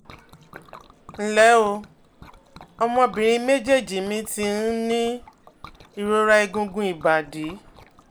nle o, ọmọbìnrin mejeeji mi ti um ní ìrora egungun ibadi